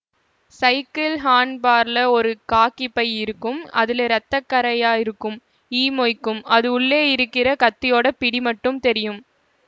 cycle ஹாண்ட் பார்லே ஒரு காக்கி பை இருக்கும் அதுலெ ரத்தக்கறையா இருக்கும் ஈ மொய்க்கும் அது உள்ளே இருக்கற கத்தியோட பிடி மட்டும் தெரியும்